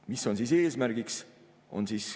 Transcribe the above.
Mis on eesmärgiks?